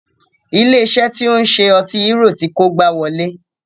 Ilé iṣé tí o ń ṣe ọtí hérò ti kó igbá wọlé.